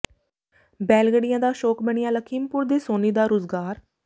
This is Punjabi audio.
ਬੈਲਗੱਡੀਆਂ ਦਾ ਸ਼ੌਕ ਬਣਿਆ ਲਖਮੀਪੁਰ ਦੇ ਸੋਨੀ ਦਾ ਰੁਜ਼ਗਾਰ